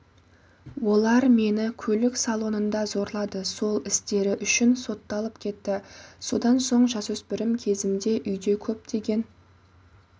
олар мені көлік салонында зорлады сол істері үшін сотталып кетті содан соң жасөспірім кезімде үйде көптеген